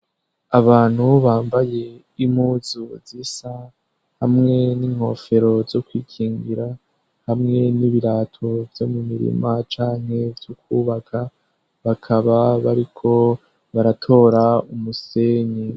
Abantu bubambaye impuzu zisa hamwe n'inkofero zo kwikingira hamwe n'ibirato vyo mu mirima canke vy'ukwubaka bakaba bariko baratora umusenyi.